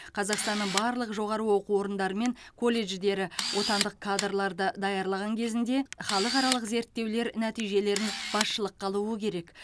қазақстанның барлық жоғары оқу орындары мен колледждері отандық кадрларды даярлаған кезінде халықаралық зерттеулер нәтижелерін басшылыққа алуы керек